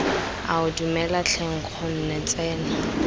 ao dumela tlhe nkgonne tsena